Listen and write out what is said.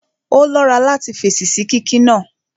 Ó lọ́ra láti fèsì sí kíkí náà